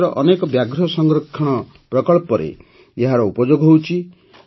ଦେଶର ଅନେକ ବ୍ୟାଘ୍ର ସଂରକ୍ଷଣ ପ୍ରକଳ୍ପରେ ଏହାର ଉପଯୋଗ ହେଉଛି